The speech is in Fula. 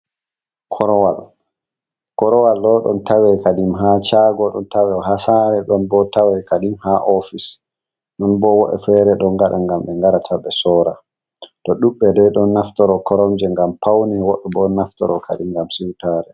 Korowal korowal ɗo tawe ha shago ɗon bo tawe ha sare don bo tawe fahin ha office ɗobo wo’e me fere ɗon ngade ngam ɓe ngaɗata be sowra tuo ɗuɗbe dei ɗon naftoro koromje ngam paune woɓɓe bo naftoro kadi ngam sowra.